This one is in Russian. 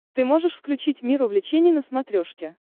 ты можешь включить мир увлечений на смотрешке